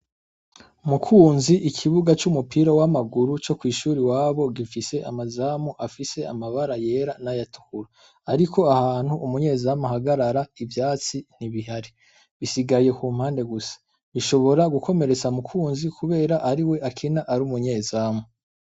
Mukunzi ikibuga c'umupira w'amaguru co kwishuri iwabo gifise amazamu afise amabara yera n'ayatukura ariko ahantu umunye zamu ahagarara ivyatsi ntibihari bisigaye kumpande gusa bishobora gukomeretsa mukunzi kubera ariwe akina ari umunye zamu.